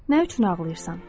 Nə üçün ağlayırsan?